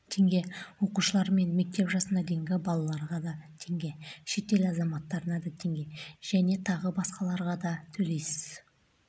теңге оқушылар мен мектеп жасына дейінгі балаларға теңге шетел азаматтарына теңге және тағы басқаларға датөлейсіз